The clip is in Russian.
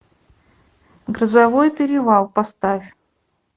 грозовой перевал поставь